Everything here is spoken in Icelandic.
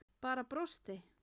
Bara brosti.